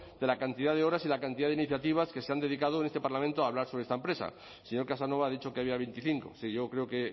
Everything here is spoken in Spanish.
de la cantidad de horas y la cantidad de iniciativas que se han dedicado en este parlamento a hablar sobre esta empresa el señor casanova ha dicho que había veinticinco es decir yo creo que he